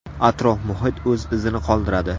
Atrof-muhit o‘z izini qoldiradi.